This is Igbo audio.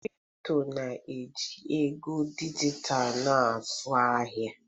Kripto na-eji ego dijitalụ na-azụ ahịa.